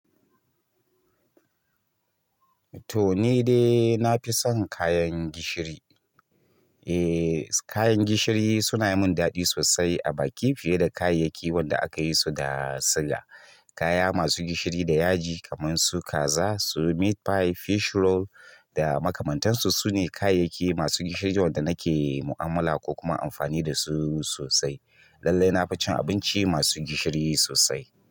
To, ni dai na fi son kayan gishiri. Eh, kayan gishiri suna yi mun daɗi sosai a baki fiye da kayayyakin wanda aka yi su da suga. Kaya masu gishiri da yaji kamar su kaza, su meat pie, fish roll da makamantansu sune kayayyaki masu gishirin wanda nake mu'amala ko kuma amfani da su sosai. Lallai na fi cin abinci masu gishiri sosai.